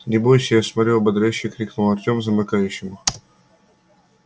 не бойся я смотрю ободряюще крикнул артём замыкающему